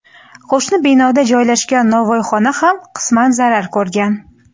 qo‘shni binoda joylashgan nonvoyxona ham qisman zarar ko‘rgan.